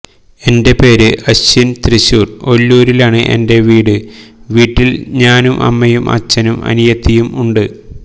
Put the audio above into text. എന്റെ പേര് അശ്വിന് തൃശൂര് ഒല്ലൂരിലാണ് എന്റെ വീട് വീട്ടില് ഞാനും അമ്മയും അച്ചനും അനിയത്തിയും ഉണ്ട്